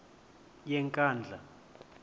yenkandla